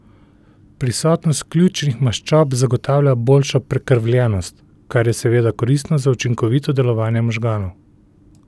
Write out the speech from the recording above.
Prisotnost ključnih maščob zagotavlja boljšo prekrvljenost, kar je seveda koristno za učinkovito delovanje možganov.